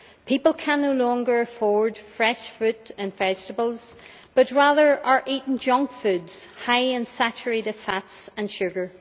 People can no longer afford fresh fruit and vegetables but rather are eating junk foods high in saturated fats and sugar.